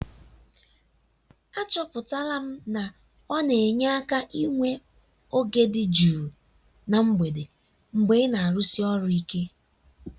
achọpụtara m na ọ na-enye aka inwe oge dị jụụ na mgbede mgbe ị na-arụsi ọrụ ike.